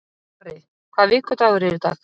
Garri, hvaða vikudagur er í dag?